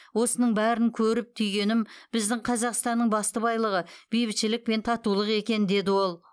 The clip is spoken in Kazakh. осының бәрін көріп түйгенім біздің қазақстанның басты байлығы бейбітшілік пен татулық екен деді ол